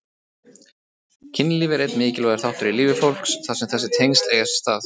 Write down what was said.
Kynlíf er einn mikilvægur þáttur í lífi fólks þar sem þessi tengsl eiga sér stað.